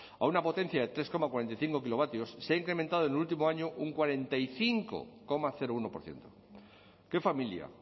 a una potencia de tres coma cuarenta y cinco kilovatios se ha incrementado en el último año un cuarenta y cinco coma uno por ciento qué familia